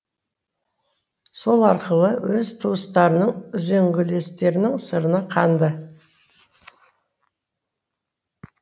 сол арқылы өз туыстарының үзеңгілестерінің сырына қанды